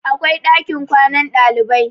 akwai ɗakin kwanan ɗalibai